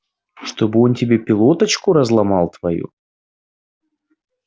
чтобы он тебе пилоточку разломал твою